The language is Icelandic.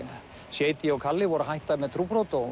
Shady og kalli voru að hætta með trúbrot og